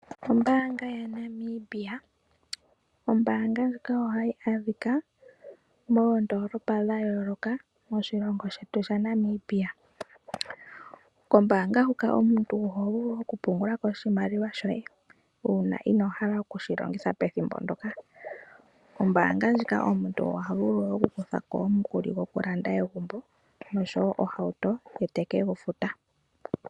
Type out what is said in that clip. Ombaanga yaNamibia, ombaanga ndjika ohayi adhika moondolopa dha yooloka moshilongo shetu shaNamibia. Kombaanga huka omuntu oho vulu oku pungula ko oshimaliwa shoye, uuna inoo hala oku shi longitha pethimbo ndoka. Ombaanga ndjika omuntu oha vulu oku kutha ko omukuli goku landa egumbo oshowo ohauto, ye teke gu futa.